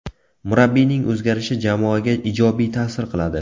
Murabbiyning o‘zgarishi jamoaga ijobiy ta’sir qiladi.